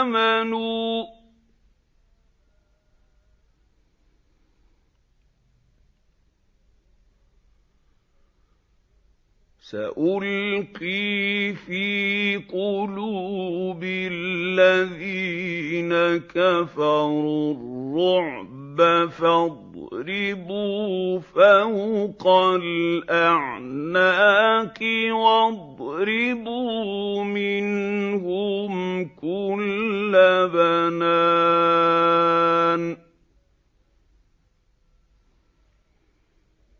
آمَنُوا ۚ سَأُلْقِي فِي قُلُوبِ الَّذِينَ كَفَرُوا الرُّعْبَ فَاضْرِبُوا فَوْقَ الْأَعْنَاقِ وَاضْرِبُوا مِنْهُمْ كُلَّ بَنَانٍ